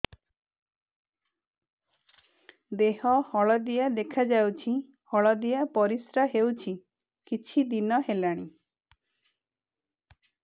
ଦେହ ହଳଦିଆ ଦେଖାଯାଉଛି ହଳଦିଆ ପରିଶ୍ରା ହେଉଛି କିଛିଦିନ ହେଲାଣି